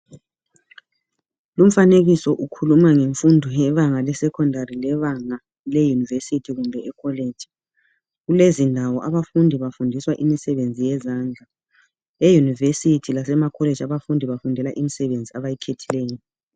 Lumfanekiso ukhuluma ngemfundo yebanga le secondary le banga le university kumbe e college kulezindawo abafundi bafundiswa imisebenzi yezandla e university lasema college abafundi bafundela imisebenzi abayikhethileyo.